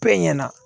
Bɛɛ ɲɛna